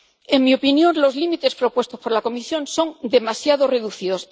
En mi opinión los límites propuestos por la Comisión son demasiado reducidos.